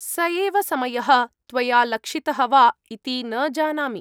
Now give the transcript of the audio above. स एव समयः त्वया लक्षितः वा इति न जानामि।